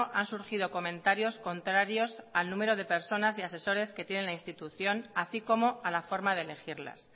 han surgido comentarios contrarios al número de personas y asesores que tiene la institución así como a la forma de elegirlas